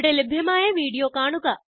ഇവിടെ ലഭ്യമായ വീഡിയോ കാണുക